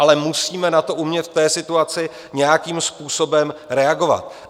Ale musíme na to umět v té situaci nějakým způsobem reagovat.